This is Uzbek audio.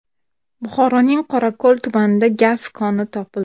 Buxoroning Qorako‘l tumanida gaz koni topildi.